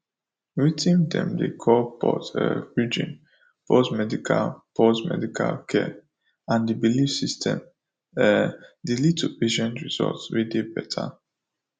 weting dem dey call pause um bridging pause medical pause medical care and the belief systems um dey lead to patient results wey dey better